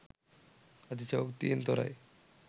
අතිශයෝක්තියෙන් තොරයි.